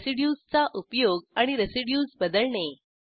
residues चा उपयोग आणि रेसिड्यूज बदलणे